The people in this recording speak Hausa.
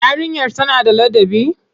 Yarinyar tana da ladabi?